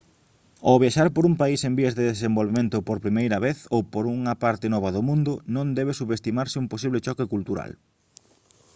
ao viaxar por un país en vías de desenvolvemento por primeira vez ou por unha parte nova do mundo non debe subestimarse un posible choque cultural